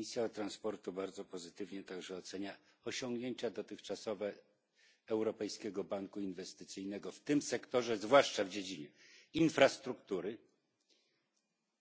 Komisja Transportu bardzo pozytywnie także ocenia dotychczasowe osiągnięcia Europejskiego Banku Inwestycyjnego w tym sektorze, zwłaszcza w dziedzinie infrastruktury,